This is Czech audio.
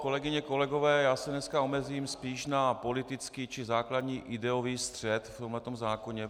Kolegyně, kolegové, já se dneska omezím spíš na politický či základní ideový střet v tomhle zákoně.